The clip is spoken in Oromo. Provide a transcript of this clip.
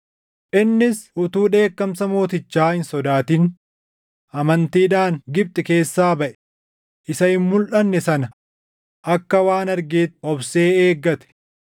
Innis utuu dheekkamsa mootichaa hin sodaatin amantiidhaan Gibxi keessaa baʼe; isa hin mulʼanne sana akka waan argeetti obsee eeggate.